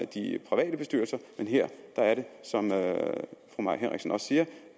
de private bestyrelser men her er det som fru mai henriksen også siger